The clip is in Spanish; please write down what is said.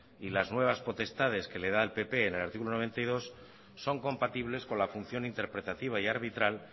y las nuevas potestades que les da el pp en el artículo noventa y dos son compatibles con la función interpretativa y arbitral